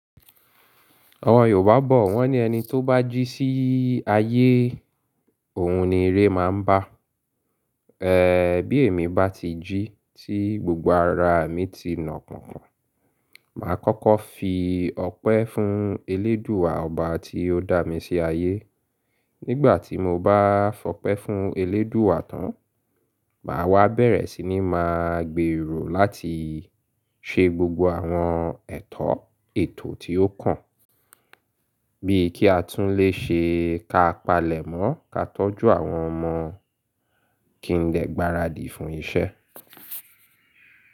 Àwọn Yorùbá bọ̀ wọ́n ní ẹni tó bá jí sí ayé, òun ni iré máa ń bá. Bí èmi bá ti jí tí gbogbo ara mi ti nà pọ̀npọ̀n, màá kọ́kọ́ fi ọpẹ́ fún eléèdúà ọba tí ó dá mi sí ayé. Nígbà tí mo bá fọpẹ́ fún eléèdúà tán, màá wá bẹ̀rẹ̀ sí ní máa gbero láti ṣe gbogbo àwọn ètò, ètò tí ó kàn. Bíi kí a tún lè ṣe ká palẹ̀mọ́, ká tọ́jú àwọn ọmọ kí n lè gbaradì fún iṣẹ́.